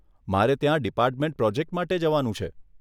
મારે ત્યાં department project માટે જવાનું છે.